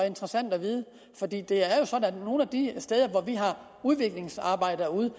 interessant at vide for det er at nogle af de steder hvor vi har udviklingsarbejdere ude